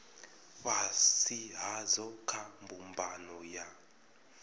fhasi hadzo kha mbumbano ya